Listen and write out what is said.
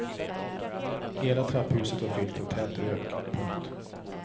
Hela trapphuset var fyllt av tät rök. punkt